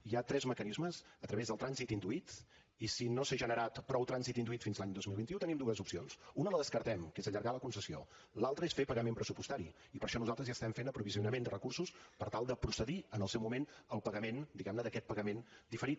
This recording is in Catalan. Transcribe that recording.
hi ha tres mecanismes a través del trànsit induït i si no s’ha generat prou trànsit induït fins l’any dos mil vint u tenim dues opcions una la descartem que és allargar la concessió l’altra és fer pagament pressupostari i per això nosaltres ja estem fent aprovisionament de recursos per tal de procedir en el seu moment al pagament diguem ne d’aquest pagament diferit